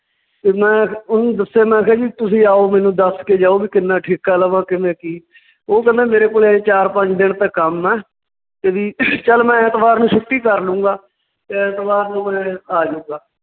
ਤੇ ਮੈਂ ਓਹਨੂੰ ਦੱਸਿਆ ਮੈਂ ਕਿਹਾ ਜੀ ਤੁਸੀਂ ਆਓ ਮੈਨੂੰ ਦੱਸ ਕੇ ਜਾਓ ਵੀ ਕਿੰਨਾ ਠੇਕਾ ਲਵਾਂ ਕਿੰਨਾ ਕੀ ਓਹ ਕਹਿੰਦਾ ਮੇਰੇ ਕੋਲ ਹਜੇ ਚਾਰ ਪੰਜ ਦਿਨ ਤਾਂ ਕੰਮ ਹੈ, ਤੇ ਵੀ ਚੱਲ ਮੈਂ ਐਤਵਾਰ ਨੂੰ ਛੁੱਟੀ ਕਰਲੂੰਗਾ, ਐਤਵਾਰ ਨੂੰ ਮੈਂ ਆ ਜਾਊਂਗਾ।